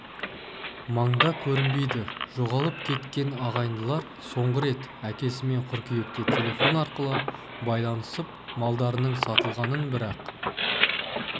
маңда көрінбейді жоғалып кеткен ағайындылар соңғы рет әкесімен қыркүйекте телефон арқылы байланысып малдарының сатылғанын бірақ